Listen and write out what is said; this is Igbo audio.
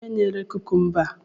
Kedu onye na-ere kukumba a?